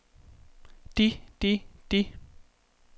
de de de